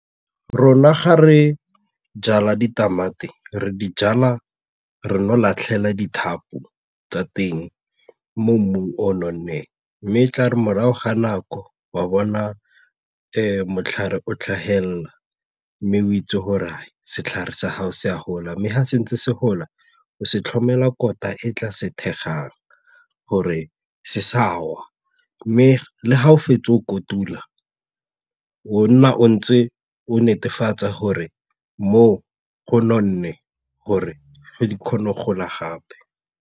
Rona ga re jala ditamati, re di jala re no latlhela dithapo tsa teng mo mmung o o nonneng mme tla re morago ga nako wa bona matlhare o tlhagelela mme o itse gore setlhare sa gago se a gola mme ga se ntse se gola o se tlhomela kolota e tla se thekgang gore se sa wa mme ga o fetsa o kotula o nna o ntse o netefatse gore mo go nonne gore ge di kgone go gola gape.